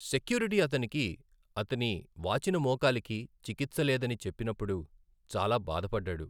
Security అతనికి, అతని వాచిన మోకాలికి చికిత్స లేదని చెప్పినప్పుడు చాలా బాధపడ్డాడు.